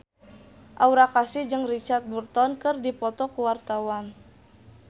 Aura Kasih jeung Richard Burton keur dipoto ku wartawan